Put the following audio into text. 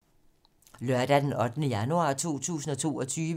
Lørdag d. 8. januar 2022